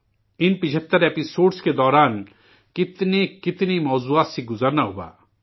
ان 75 قسطوں کے دوران کتنے کتنے موضوعات سے گزرنا ہوا